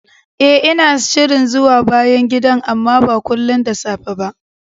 Eh, ina shirin zuwa bayan gidan, amma ba kullin da safe ba